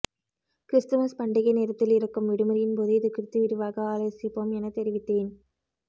Christmas பண்டிகை நேரத்தில் இருக்கும் விடுமுறையின்போது இதுகுறித்து விரிவாக ஆலோசிப்போம் எனத் தெரிவித்தேன்